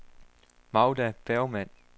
Magda Bergmann